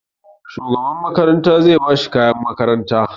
Shugaban makaranta zai ba shi kayan makaranta.